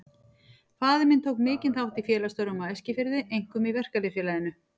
Faðir minn tók mikinn þátt í félagsstörfum á Eskifirði, einkum í Verkalýðs- félaginu.